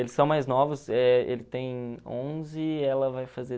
Eles são mais novos, eh ele tem onze, ela vai fazer